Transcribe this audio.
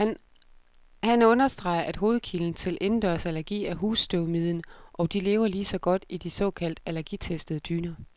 Han understreger, at hovedkilden til indendørsallergi er husstøvmiden, og de lever lige så godt i de såkaldt allergitestede dyner.